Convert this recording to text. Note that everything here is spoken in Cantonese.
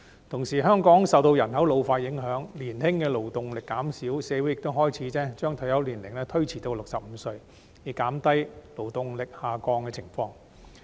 同時，香港受到人口老化影響，年青的勞動力減少，社會亦開始將退休年齡延遲至65歲，以減低勞動力下降的情況。